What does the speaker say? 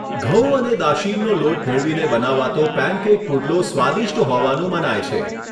ઘઉં અને દાશીનનો લોટ ભેળવીને બનાવાતો પેનકેક પુડલો સ્વાદિષ્ટ હોવાનું મનાય છે.